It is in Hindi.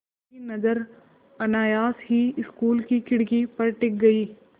उनकी नज़र अनायास ही स्कूल की खिड़की पर टिक गई